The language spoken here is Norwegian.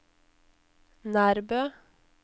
Nærbø